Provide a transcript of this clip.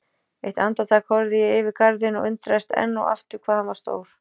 Eitt andartak horfði ég yfir garðinn og undraðist enn og aftur hvað hann var stór.